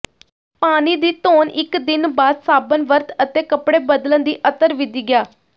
ਪਾਣੀ ਦੀ ਧੋਣ ਇਕ ਦਿਨ ਬਾਅਦ ਸਾਬਣ ਵਰਤ ਅਤੇ ਕੱਪੜੇ ਬਦਲਣ ਦੀ ਅਤਰ ਵਿਧੀ ਗਿਆ